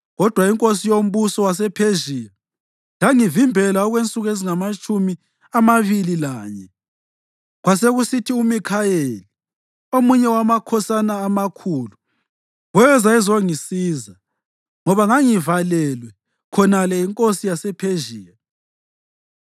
Kodwa inkosi yombuso wasePhezhiya yangivimbela okwensuku ezingamatshumi amabili lanye. Kwasekusithi uMikhayeli, omunye wamakhosana amakhulu, weza ezongisiza, ngoba ngangivalelwe khonale yinkosi yasePhezhiya.